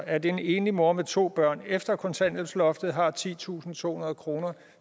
at en enlig mor med to børn efter kontanthjælpsloftet har titusinde og tohundrede kroner